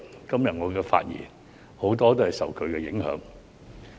今天我的發言很多內容也受其影響。